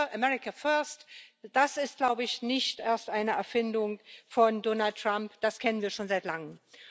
America First das ist, glaube ich, nicht erst eine Erfindung von Donald Trump, das kennen wir schon seit Langem.